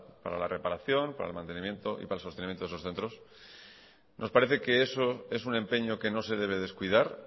para la reparación para el mantenimiento y para el sostenimiento de esos centros nos parece que eso es un empeño que no se debe descuidar